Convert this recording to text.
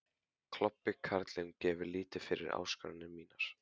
Klobbi karlinn gefur lítið fyrir áskoranir mínar.